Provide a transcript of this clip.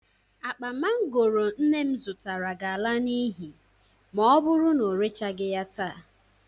Akpa mangooro nne m zụtara ga-ala n'ihi ma ọ bụru na o rechagị ya taa.